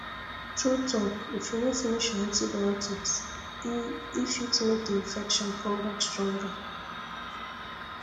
true talk if you no finish your antibiotics e e fit make the infection come back stronger